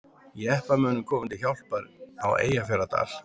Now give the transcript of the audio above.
Jeppamönnum komið til hjálpar á Eyjafjarðardal